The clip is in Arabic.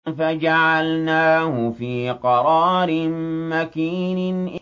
فَجَعَلْنَاهُ فِي قَرَارٍ مَّكِينٍ